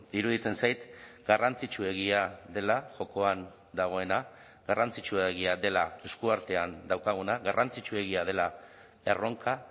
iruditzen zait garrantzitsuegia dela jokoan dagoena garrantzitsuegia dela eskuartean daukaguna garrantzitsuegia dela erronka